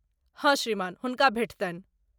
हँ, श्रीमान, हुनका भेटतनि ।